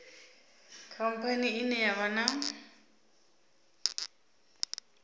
khamphani ine ya vha na